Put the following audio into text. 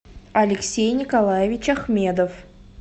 алексей николаевич ахмедов